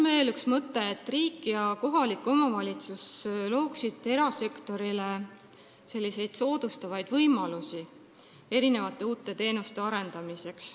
Veel üks mõte on see, et riik ja kohalik omavalitsus looksid erasektorile soodustavaid võimalusi uute teenuste arendamiseks.